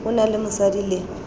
o na le mosadi le